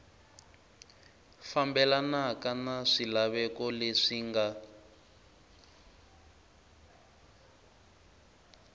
fambelanaka na swilaveko leswi nga